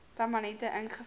permanente ink ingevul